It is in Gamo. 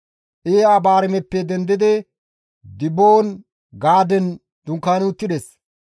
Iye-Abaarimeppe dendidi Diboon-Gaaden dunkaani uttides.